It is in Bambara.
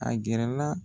A gɛrɛ la